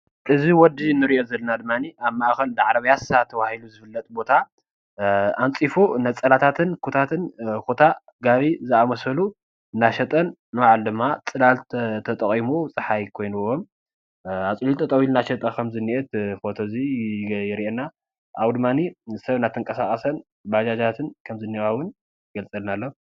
እዚ ወዲ ንሪኦ ዘለና ድማኒ ኣብ ማእከል ዳዕሮ ፒያሳ ተባሂሉ ዝፍለጥ ቦታ ኣንፂፉ ነፀላታትን፣ ኩታታትን፣ ኩታ ፣ ጋቢ ዝኣመሰሉ እናሸጠን ንባዕሉ ድማ ፅላል ተጠቒሙ ፀሓይ ኮይንዎ ኣፅሊሉ ጠጠው ኢሉ እናሸጠ ከም ዝንኤ እዚ ፎቶ እዚ የርእየና። ካብኡ ድማኒ ሰብ እናተንቀሳቐሰን ባጃጃትን ከም ዝንኤዋ እዉን ይገልፀልና ኣሎ።